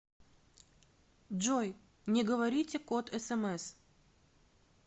джой не говорите код смс